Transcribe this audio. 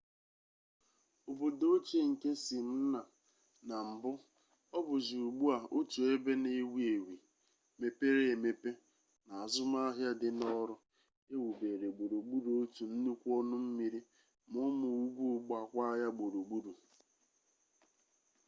obodo ochie nke smyrna na mbụ ọ bụzi ugbu a otu ebe na-ewi ewi mepere emepe na azụmaahịa dịnọrụ e wubere gburugburu otu nnukwu ọnụ mmiri ma ụmụ ugwu gbaakwa ya gburugburu